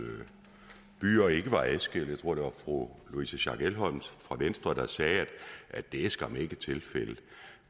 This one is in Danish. byer ikke var adskilte jeg tror det var fru louise schack elholm fra venstre der sagde at det skam ikke var tilfældet